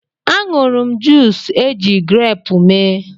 A ṅụrụ m juus eji greepụ mee.